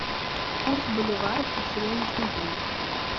курс боливара на сегодняшний день